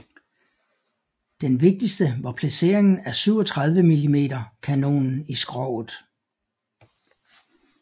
Den vigtigste var placeringen af 37 mm kanonen i skroget